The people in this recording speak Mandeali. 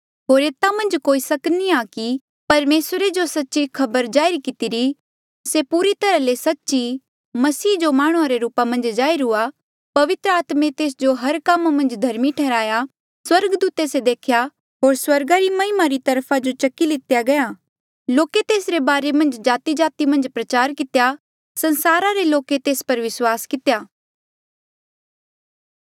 होर एता मन्झ कोई सक नी आ कि परमेसरे जो सच्ची खबर जाहिर कितिरी से पूरी तरहा ले सच्च ई मसीह जो माह्णुं रे रूपा मन्झ जाहिर हुआ पवित्र आत्मे तेस जो हर कामा मन्झ धर्मी ठैहर्या स्वर्गदूते से देखेया होर स्वर्गा री महिमा री वखा जो से चकी लितेया गया लोके तेसरे बारे मन्झ जातिजाति मन्झ प्रचार कितेया संसारा रे लोके तेस पर विस्वास कितेया